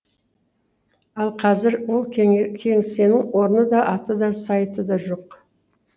ал қазір ол кеңсенің орны да аты да сайты да жоқ